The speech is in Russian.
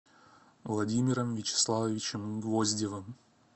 владимиром вячеславовичем гвоздевым